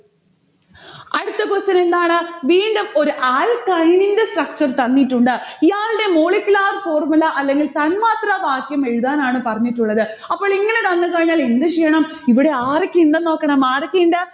അടുത്ത question എന്താണ്? വീണ്ടും ഒരു alkyne ന്റെ structure തന്നിട്ടുണ്ട്. ഇയാൾടെ molecular formula അല്ലെങ്കിൽ തന്മാത്രവാക്യം എഴുതാനാണ് പറഞ്ഞിട്ടുള്ളത്. അപ്പോളിങ്ങനെ തന്നു കഴിഞ്ഞാൽ എന്ത് ചെയ്യണം? ഇവിടെ ആരൊക്കെയിണ്ടെന്ന് നോക്കണം, ആരൊക്കെയിണ്ട്